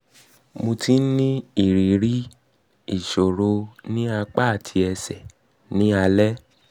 mo ti ń ní ìrírí ń ní ìrírí ìṣòro ní apá àti ẹsẹ̀ ní alẹ́